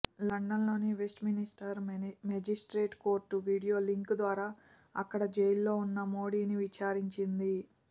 లండన్లోని Westminster magistrate court video link ద్వారా అక్కడ జైలులో ఉన్న మోడీని విచారించింది